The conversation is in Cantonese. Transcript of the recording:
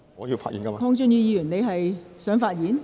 鄺俊宇議員，你是否想發言？